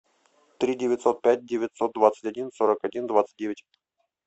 три девятьсот пять девятьсот двадцать один сорок один двадцать девять